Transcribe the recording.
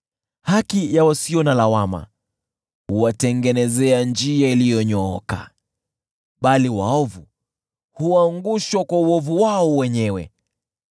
Haki ya wasio na lawama, huwatengenezea njia iliyonyooka, bali waovu huangushwa kwa uovu wao wenyewe.